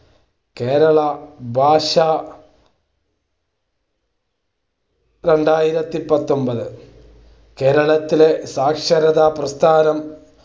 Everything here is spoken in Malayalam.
കേരളം ഭാഷാ രണ്ടായിരത്തി പത്തൊൻപത് കേരളത്തിലെ സാക്ഷരതാ പ്രസ്ഥാനം